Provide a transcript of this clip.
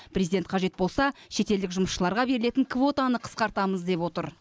президент қажет болса шетелдік жұмысшыларға берілетін квотаны қысқартамыз деп отыр